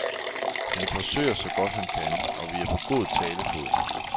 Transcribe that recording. Han forsøger, så godt han kan, og vi er på god talefod.